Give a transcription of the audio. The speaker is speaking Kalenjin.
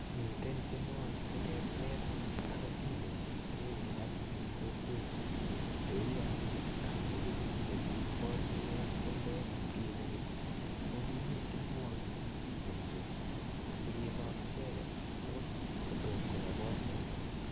Miten tionwokik cheterter ak otindenik chekikekas en kokwenyun cheuu anyun kondoik chekiborieke ak chumbek olikinye keny ko kimii tienwokik chekikitienso asikilos icheket akot kotomo kobaa boriot.